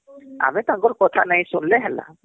ଆମେ ତାଙ୍କର କଥା ନାଇଁ ଶୁଣିଲେ ତ ହେଲା